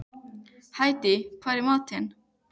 Hædý, hvað er í matinn?